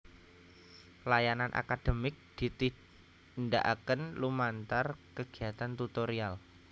Layanan akademik ditindakake lumantar kegiatan tutorial